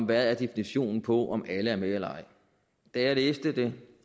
hvad definitionen er på om alle er med eller ej da jeg læste det